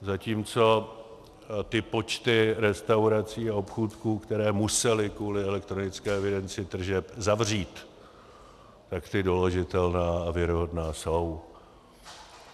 Zatímco ty počty restaurací a obchůdků, které musely kvůli elektronické evidenci tržeb zavřít, tak ty doložitelné a věrohodné jsou.